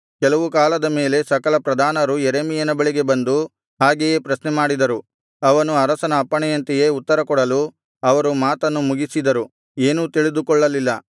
ಕೆಲವು ಕಾಲದ ಮೇಲೆ ಸಕಲ ಪ್ರಧಾನರು ಯೆರೆಮೀಯನ ಬಳಿಗೆ ಬಂದು ಹಾಗೆಯೇ ಪ್ರಶ್ನೆ ಮಾಡಿದರು ಅವನು ಅರಸನ ಅಪ್ಪಣೆಯಂತೆಯೇ ಉತ್ತರಕೊಡಲು ಅವರು ಮಾತನ್ನು ಮುಗಿಸಿದರು ಏನೂ ತಿಳಿದುಕೊಳ್ಳಲಿಲ್ಲ